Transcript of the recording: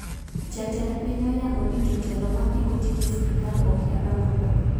Jatend piny oyango ni jotelo mapingo tije sirkal okia dongruok